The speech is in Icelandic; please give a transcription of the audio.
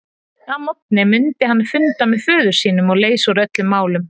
Að morgni mundi hann funda með föður sínum og leysa úr öllum málum.